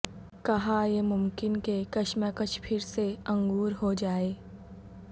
کہاں یہ ممکن کہ کشمکش پھر سے انگور ہو جائے